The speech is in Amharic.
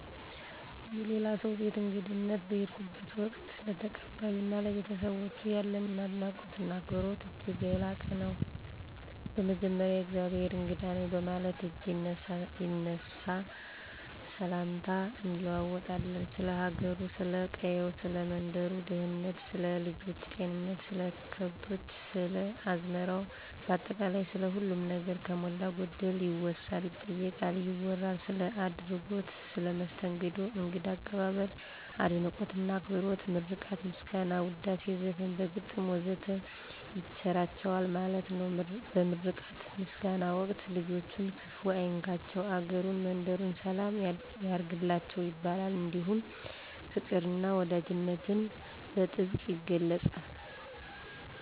የሌላ ሰው ቤት በእንግድነት በምንሄድበት ወቅት፣ ለተቀባዮ እና ለቤተሰባቸው ያለን አድናቆት እና አክብሮት እጅግ ላቅ ያለ ነው። በመጀመሪያ የእግዜሄር እንግዳ ነኝ በማለት እጅ ይነሳ፣ ሰላምታም እንለዋወጣለን፣ ስለ ሀገሩ፥ ስለ ቀየው፥ ሰለ መንደሩ ደህንነት፥ ስለ ልጆች ጤንነት፥ ስለ ከብቶች፥ ስለ አዝመራው ባጠቃላይ ስለ ሁሉም ነገር ከሞላ ጎደል ይወሳል፥ ይጠየቃል፥ ይወራል። ስለ አደረጉት መስተንግዶ እንግዳ አቀባበል፤ አድናቆት እና አክብሮት ምርቃትና ምስጋና፣ ውዳሴ፣ ዘፈን፣ በግጥም ወዘተ ይቸራቸዋል ማለት ነው። በምርቃትና በምስጋና ወቅት ልጆችን ክፍ አይንካቸቸው፤ አገሩን መንደሩን ሰላም ያርግላችሁ ይባላል። እንዲሁም ፋቅር እና ወዳጅነትን በጥብቅ ይገለፃል።